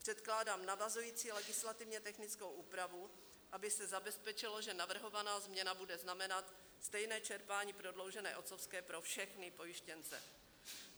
Předkládám navazující legislativně technickou úpravu, aby se zabezpečilo, že navrhovaná změna bude znamenat stejné čerpání prodloužené otcovské pro všechny pojištěnce.